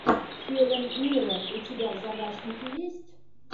хелен миррен у тебя в загашнике есть